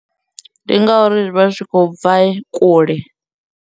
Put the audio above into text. Ndi ngauri ri vha ri tshi khou bva kule.